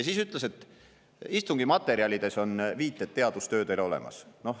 Siis ta ütles, et istungi materjalides on viited teadustöödele olemas.